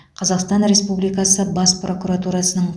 қазақстан республикасы бас прокуратурасының